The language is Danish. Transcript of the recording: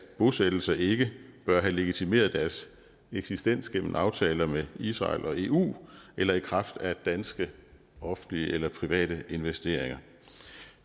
bosættelser ikke bør have legitimeret deres eksistens gennem aftaler med israel og eu eller i kraft af danske offentlige eller private investeringer